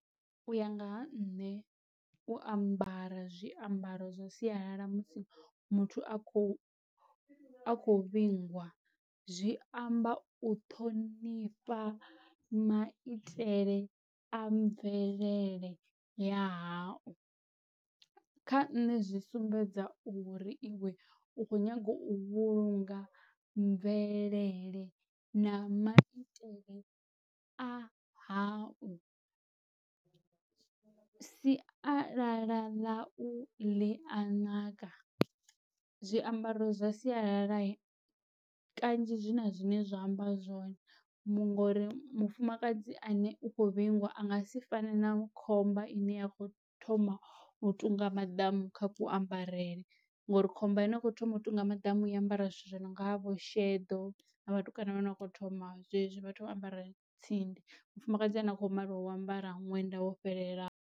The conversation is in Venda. U ya nga ha nṋe u ambara zwiambaro zwa sialala musi muthu a khou a khou vhingwa zwi amba u ṱhonifha maitele a mvelele ya hau, kha nṋe zwi sumbedza uri iwe u kho nyaga u vhulunga mvelele na maitele a hau, sialala ḽa u ḽia naka. Zwiambaro zwa sialala kanzhi zwi na zwine zwa amba zwone ngori mufumakadzi ane u khou vhingwa a nga si fane na khomba ine ya kho thoma u tunga maḓamu kha kuambarele ngori khomba ine ya kho thoma u tunga maḓamu i ambara zwithu zwi no nga vho sheḓo na vhatukana vho no kho thoma zwezwi vha ambara tsindi, mufumakadzi a no kho maliwa u ambara ṅwenda wo fhelelaho.